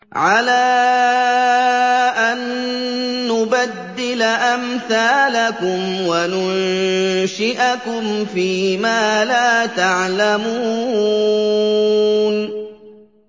عَلَىٰ أَن نُّبَدِّلَ أَمْثَالَكُمْ وَنُنشِئَكُمْ فِي مَا لَا تَعْلَمُونَ